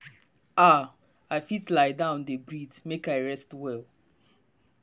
ah i fit lie down dey breathe make i rest well.